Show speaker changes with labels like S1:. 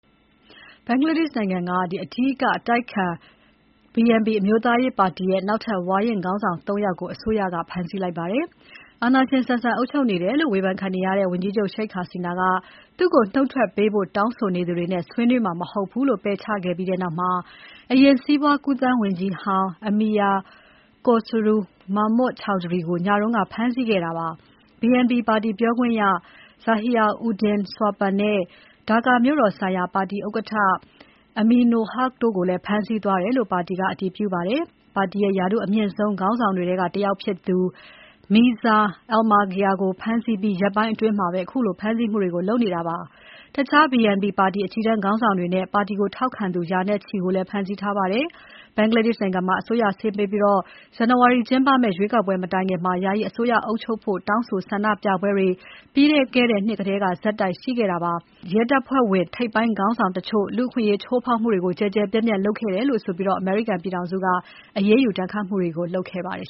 S1: ဘင်္ဂလားဒေ့ရှ်နိုင်ငံက အဓိက အတိုက်အခံ BNP အမျိုးသားရေးပါတီရဲ့ နောက်ထပ် ဝါရင့် ခေါင်းဆောင် ၃ ယောက်ကို အစိုးရက ဖမ်းဆီးလိုက်ပါတယ်။ အာဏာရှင်ဆန်ဆန် အုပ်ချုပ်နေတယ်လို့ ဝေဘန်ခံနေရတဲ့ ဝန်ကြီးချုပ် Sheikh Hasina က သူ့ကိုနှုတ်ထွက်ပေးဖို့တောင်းဆိုနေသူတွေနဲ့ ဆွေးနွေးမှာ မဟုတ်ဘူးလို့ ပယ်ချခဲ့ပြီးနောက် အရင်စီးပွားကူးသန်းဝန်ကြီးဟောင်း Amir Khosru Mahmud Chowdhury ကို နိုဝင်ဘာ ၂ ရက်နေ့ ညကဖမ်းဆီးခဲ့တာပါ။ BNP ပါတီပြောခွင့်ရ Zahir Uddin Swapan နဲ့ Dhaka မြို့တော်ဆိုင်ရာပါတီဥက္ကဋ္ဌ Aminul Huq တို့ကိုလည်း ဖမ်းဆီးသွားတယ်လို့ ပါတီက အတည်ပြုပါတယ်။ ပါတီရဲ့ ရာထူးအမြင့်ဆုံး ခေါင်းဆောင်တွေထဲကတယောက်ဖြစ်သူ Mirza Fakhrul Islam Alamgir ကိုဖမ်းဆီးပြီး ရက်ပိုင်းအတွင်းမှာပဲ ခုလို ဖမ်းဆီးမှုတွေကို လုပ်နေတာပါ။ တခြား BNP ပါတီ အကြီးတန်းခေါင်းဆောင်တွေနဲ့ ပါတီကိုထောက်ခံသူ ရာနဲ့ချီကိုလည်း ဖမ်းဆီးထားပါတယ်။ ဘင်္ဂလားဒေ့ရှ်နိုင်ငံမှာ အစိုးရဆင်းပေးပြီး ဇန်နဝါရီကျင်းပမယ့် ရွေးကောက်ပွဲ မတိုင်ခင် ယာယီအစိုးရ အုပ်ချုပ်ဖို့ တောင်းဆိုဆန္ဒပြပွဲတွေ ပြီးခဲ့တဲ့နှစ်ထဲက ဆက်တိုက်ရှိခဲ့ပါတယ်။ လက်ရှိအစိုးရထဲက ရဲတပ်ဖွဲ့ဝင်ထိပ်ပိုင်းခေါင်းဆောင်တချို့ လူ့အခွင့်အရေးချိုးဖောက်မှုတွေ ကျယ်ကျယ်ပြန့်ပြန့်လုပ်ခဲ့တယ်ဆိုပြီး အမေရိကန်ပြည်ထောင်စုက အရေ
S2: းယူ ဒဏ်ခတ်မှုတွေ လုပ်ခဲ့ပါတယ်